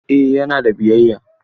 Eh yana da biyayya.